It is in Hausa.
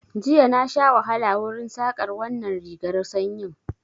Jiya na sha wahala wurin Saƙar wannan rigar sanyin